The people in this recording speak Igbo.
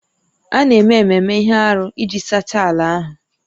A na-eme ememe ihe arụ iji sachaa ala ahụ